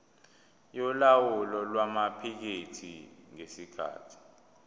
yolawulo lwamaphikethi ngesikhathi